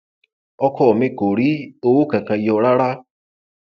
ọkọ mi kò rí owó kankan yọ rárá